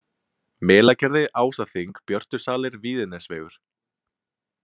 Melagerði, Ásaþing, Björtusalir, Víðinesvegur